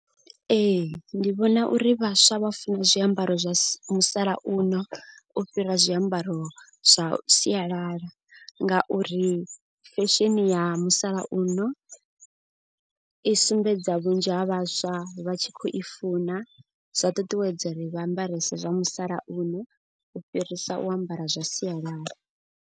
Ee ndi vhona uri vhaswa vha funa zwiambaro zwa musalauno u fhira zwiambaro zwa sialala. Ngauri fesheni ya musalauno i sumbedza vhunzhi ha vhaswa vha tshi khou i funa. Zwa ṱuṱuwedza uri vha ambarese zwa musalauno u fhirisa u ambara zwa sialala.